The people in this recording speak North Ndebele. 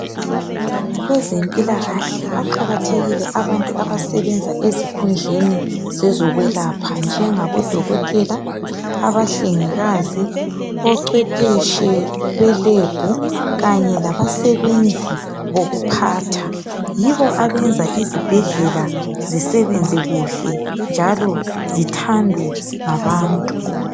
Kwezempilakahle baqakathekile abantu abasebenza ezikhundleni zezikwelapha njengabodokotela, abahlengikazi, ocwephetshi belab kanye labasebenzi bokuphatha yibo abenza izibhedlela zisebenze kuhle njalo zithandwe ngabantu.